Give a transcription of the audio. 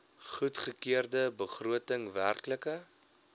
goedgekeurde begroting werklike